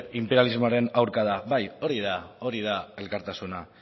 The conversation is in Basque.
inperialismoaren aurka da bai hori da elkartasuna